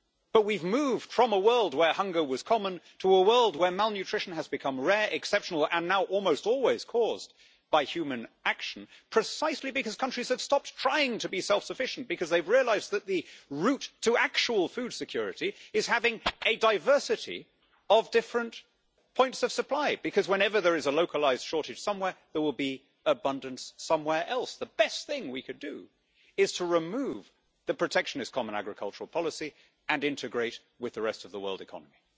But we have moved from a world where hunger was common to a world where malnutrition has become rare, exceptional and now almost always caused by human action, precisely because countries have stopped trying to be self sufficient and have realised that the route to actual food security is having a diversity of different points of supply whenever there is a localised shortage somewhere, there will be abundance somewhere else. The best thing we could do is to remove the protectionist Common Agricultural Policy and integrate with the rest of the world economy.